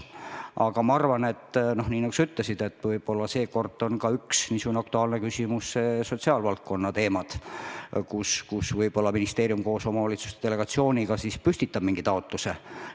Aga ma arvan, nagu sa ka ütlesid, et seekord on aktuaalsed sotsiaalvaldkonna teemad, kus ministeerium koos omavalitsuste delegatsiooniga püstitab mingi taotluse.